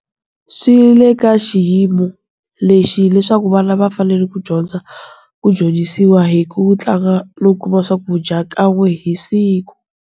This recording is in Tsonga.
Swi le ka xiyimo lexi leswaku vana va fanele ku dyondza, ku dyondzisiwa hi ku tlanga no kuma swakudya kan'we hi siku.